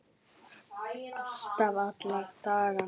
Alltaf, alla daga.